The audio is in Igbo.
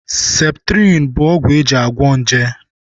Septrịn bụ ọgwụ eji agwọ nje